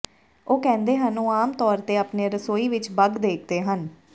ਉਹ ਕਹਿੰਦੇ ਹਨ ਕਿ ਉਹ ਆਮ ਤੌਰ ਤੇ ਆਪਣੇ ਰਸੋਈ ਵਿਚ ਬੱਗ ਦੇਖਦੇ ਹਨ